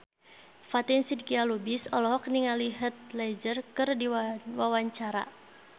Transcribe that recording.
Fatin Shidqia Lubis olohok ningali Heath Ledger keur diwawancara